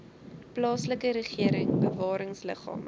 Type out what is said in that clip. plaaslike regering bewaringsliggame